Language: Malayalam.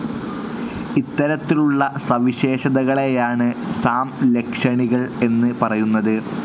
ഇത്തരത്തിലുള്ള സവിശേഷതകളേയാണ് സാംലക്ഷണികൾ എന്ന് പറയുന്നത്.